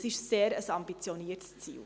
Das ist ein sehr ambitioniertes Ziel.